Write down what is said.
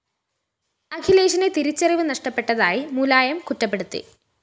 അഖിലേഷിന് തിരിച്ചറിവ് നഷ്ടപ്പെട്ടതായി മുലായം കുറ്റപ്പെടുത്തി